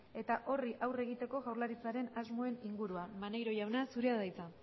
eta horri aurre egiteko jaurlaritzaren asmoen inguruan maneiro jauna zurea da hitza